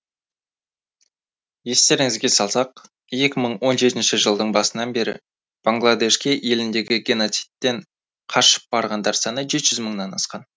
естеріңізге салсақ екі мың он жетінші жылдың басынан бері бангладешке еліндегі геноцидтен қашып барғандар саны жеті жүз мыңнан асқан